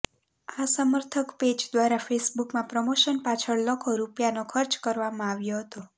આ સમર્થક પેજ દ્વારા ફેસબુકમાં પ્રમોશન પાછળ લખો રૂપિયાનો ખર્ચ કરવામાં આવ્યો હતો